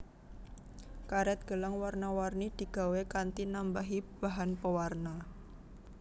Karet gelang warna warni digawé kanthi nambahi bahan pewarna